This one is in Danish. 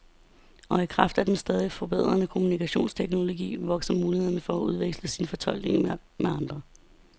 Og i kraft af den stadigt forbedrede kommunikationsteknologi vokser mulighederne for at udveksle sine fortolkninger med andre.